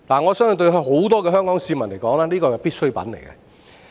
我相信對很多香港市民而言，它是必需品。